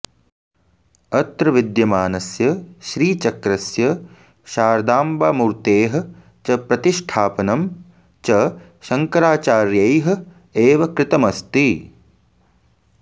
अत्र विद्यमानस्य श्रीचक्रस्य शारदाम्बामूर्तेः च प्रतिष्ठापनं च शङ्कराचार्यैः एव कृतमस्ति